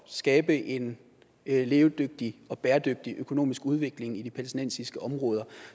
skabe en levedygtig og bæredygtig økonomisk udvikling i de palæstinensiske områder